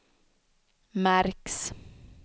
märks